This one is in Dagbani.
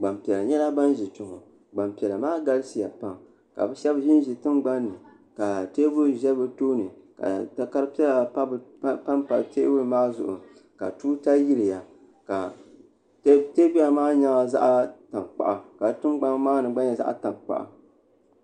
gbanpiɛla nyɛla bin ʒi kpɛ ŋɔ Gbanpiɛla maa galisiya pam ka bi shab ʒinʒi tingbanni ka teebuli ʒɛ bi tooni ka takari piɛla panpa teebuli maa zuɣu ka tuuta yiliya teebuli maa nyɛla zaɣ tankpaɣu ka di tingbani maa ni gba nyɛ zaɣ tankpaɣu